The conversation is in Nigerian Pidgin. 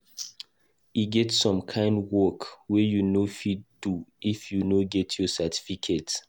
E get some kind work wey you no fit do if you no get your certificate.